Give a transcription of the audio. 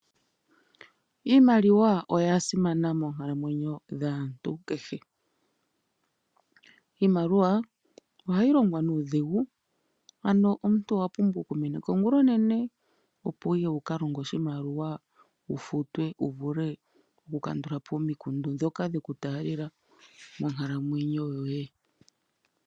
Iimaliwa oya simana monkalamwenyo dhaantu kehe. Iimaliwa ohayi longwa nuudhigu, ano omuntu owa pumbwa okumeneka ongula onene opo wukalonge wu futwe, wu vule okukandulapo omikundu ndhoka dheku taalela monkalamwenyo yoye.